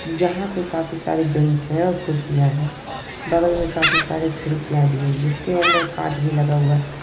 यहाँ पे काफी सारे बेंच है और खुर्शिया है बगल में काफी सारे खिड़कियां भी है जिसके अंदर कांच भी लगा हुआ--